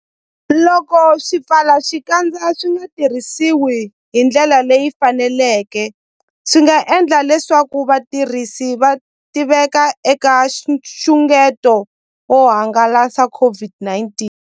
Loko swipfalaxikandza swi nga tirhisiwi hi ndlela leyi faneleke, swi nga endla leswaku vatirhisi va tiveka eka nxungeto wo hangalasa COVID-19.